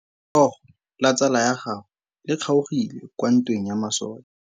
Letsôgô la tsala ya gagwe le kgaogile kwa ntweng ya masole.